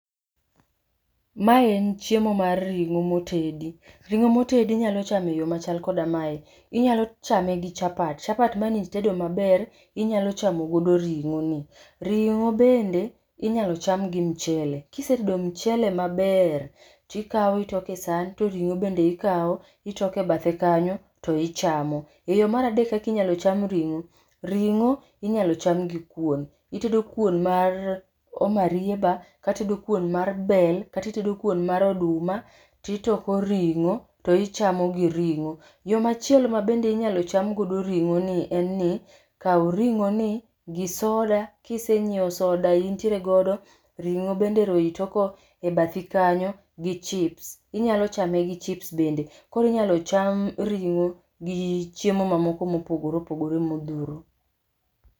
Mae en chiemo mar ring'o motedi. Ring'o motedi inyalo chamo e yoo machal koda mae. Inyalo chame koda chapat, chapat mane itedo maber inyalo chamo gi ring'o ni, ringo benda inyalo cham gi mchele, kisetedo mchele maber, tikao itoke san, to ring'o bend eikao itoke bathe kanyo to ichamo. Yoo mar adek kaka inyalo cham ringo, ringo inyalo cham gi kuon, itedo kuon mar marieba, kata itedo kon mar bel kata itedo kuon mar oduma to itoko ringo to ichamo gi ringo. Yoo machielo mabende minyal cham go ringo ni en ni kao ringo ni gi soda, kisenyiew soda intiere godo, ring'o be ero itoko e bathi kanyo gi chips[sc], inyalo chame gi chips bende, koro inyalo cham ring'o gi chiemo moko mopogore opogore modhuro